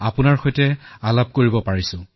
আপোনাৰ সৈতে কথা পাতিবলৈ পাই সৌভাগ্যবোধ কৰিছো